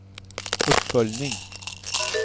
uppföljning